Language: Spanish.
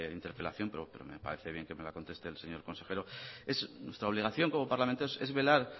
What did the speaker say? interpelación pero me parece bien que me la conteste el señor consejero es nuestra obligación como parlamento es velar